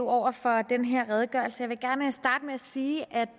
over for den her redegørelse jeg vil gerne starte med at sige at